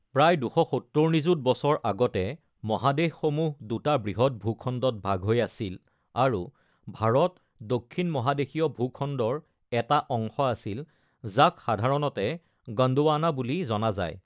প্ৰায় ২৭০ নিযুত বছৰ আগতে, মহাদেশসমূহ দুটা বৃহৎ ভূখণ্ডত ভাগ হৈ আছিল আৰু ভাৰত দক্ষিণ মহাদেশীয় ভূখণ্ডৰ এটা অংশ আছিল যাক সাধাৰণতে গণ্ডৱানা বুলি জনা যায়।